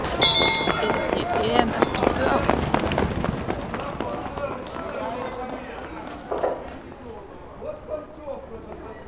Er ekki EM eftir tvö ár?